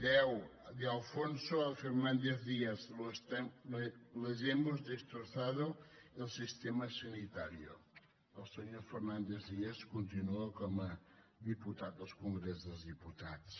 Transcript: deu de alfonso a fernández díaz les hemos destrozado el sistema sanitario el senyor fernández díaz continua com a diputat al congrés dels diputats